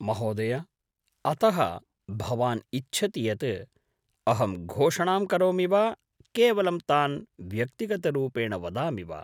-महोदय! अतः भवान् इच्छति यत् अहं घोषणां करोमि वा केवलं तान् व्यक्तिगतरूपेण वदामि वा?